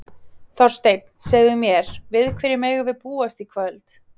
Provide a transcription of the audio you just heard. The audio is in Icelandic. Þorsteinn, segðu mér, við hverju megum við búast í kvöld?